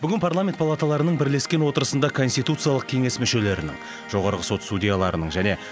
бүгін парламент палаталарының бірлескен отырысында конституциялық кеңес мүшелерінің жоғарғы сот судьяларының және